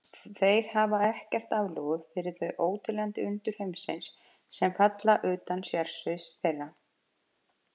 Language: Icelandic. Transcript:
Þeir hafa ekkert aflögu fyrir þau óteljandi undur heimsins, sem falla utan sérsviðs þeirra.